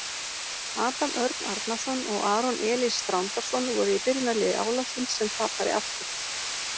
Adam Örn Arnarson og Aron Elís Þrándarson voru í byrjunarliði Álasunds sem tapaði aftur.